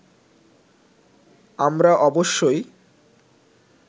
আমরা অবশ্যই